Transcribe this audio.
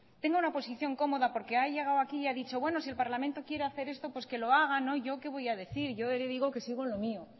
tenga una posición cómoda porque ha llegado aquí y ha dicho bueno si el parlamento quiere hacer esto pues que lo haga no yo que le voy a decir yo le digo que sigo en lo mío